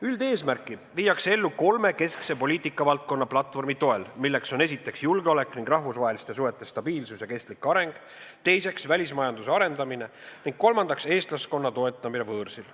Üldeesmärki viiakse ellu kolme keskse poliitikavaldkonna platvormi toel, milleks on: esiteks, julgeolek ning rahvusvaheliste suhete stabiilsus ja kestlik areng; teiseks, välismajanduse arendamine; ning kolmandaks, eestlaskonna toetamine võõrsil.